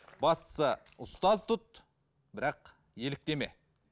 бастысы ұстаз тұт бірақ еліктеме